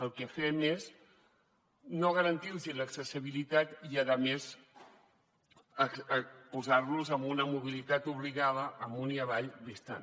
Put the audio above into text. el que fem és no garantir los l’accessibilitat i a més posar los amb una mobilitat obligada amunt i avall distant